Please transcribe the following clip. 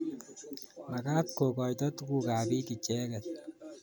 Makat kokoito tukuk ap piik icheket